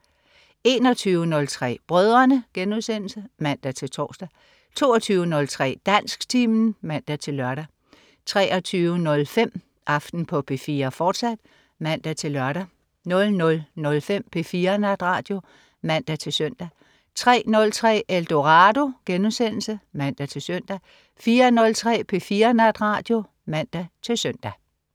21.03 Brødrene* (man-tors) 22.03 Dansktimen (man-lør) 23.05 Aften på P4, fortsat (man-lør) 00.05 P4 Natradio (man-søn) 03.03 Eldorado* (man-søn) 04.03 P4 Natradio (man-søn)